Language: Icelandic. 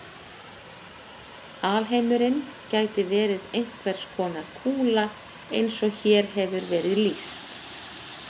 alheimurinn gæti verið einhvers konar kúla eins og hér hefur verið lýst